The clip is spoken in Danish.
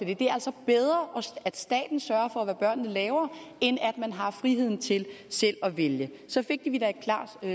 det er altså bedre at staten sørger for hvad børnene laver end at man har friheden til selv at vælge så fik vi da et klart